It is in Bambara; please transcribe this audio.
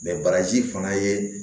bagaji fana ye